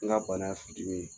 N ka bana y' a sijuu ye